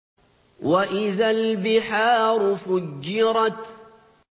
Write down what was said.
وَإِذَا الْبِحَارُ فُجِّرَتْ